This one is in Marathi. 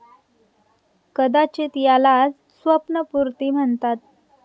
कदाचित यालाच स्वप्नपुर्ती म्हणताता.